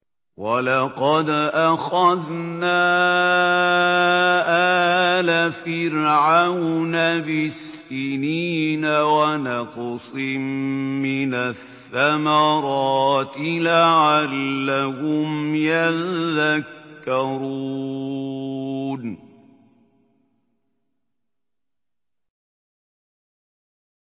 وَلَقَدْ أَخَذْنَا آلَ فِرْعَوْنَ بِالسِّنِينَ وَنَقْصٍ مِّنَ الثَّمَرَاتِ لَعَلَّهُمْ يَذَّكَّرُونَ